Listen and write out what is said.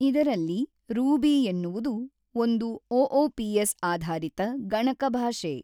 ಇದರಲ್ಲಿ ರೂಬಿ ಎನ್ನುವುದು ಒಂದು ಒ ಒ ಪಿ ಎಸ್ ಆದರಿತ ಗಣಕ ಭಾಷೆ.